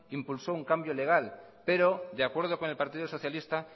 impulsó un cambio legal pero de acuerdo con el partido socialista